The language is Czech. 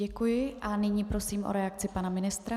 Děkuji a nyní prosím o reakci pana ministra.